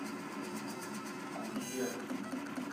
кусе